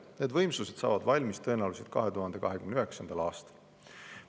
Need võimsused saavad valmis tõenäoliselt 2029. aastal.